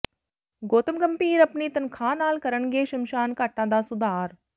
ਗੌਤਮ ਗੰਭੀਰ ਆਪਣੀ ਤਨਖਾਹ ਨਾਲ ਕਰਨਗੇ ਸ਼ਮਸ਼ਾਨ ਘਾਟਾ ਦਾ ਸੁਧਾਰ